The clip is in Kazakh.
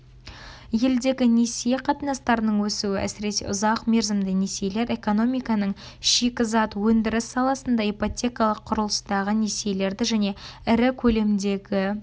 елдегі несие қатынастарының өсуі әсіресе ұзақ мерзімді несиелер экономиканың шикізат өндіріс саласында ипотекалық-құрылыстағы несиелерді және ірі көлемдегі